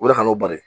O de ka kan'o bari